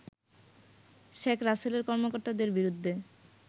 শেখ রাসেলের কর্মকর্তাদের বিরুদ্ধে